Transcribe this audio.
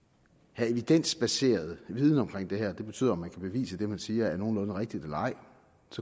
have evidensbaseret viden om det her det betyder om man kan bevise at det man siger er nogenlunde rigtigt eller ej